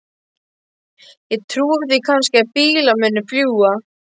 Ég trúi því kannski að bílar muni fljúga.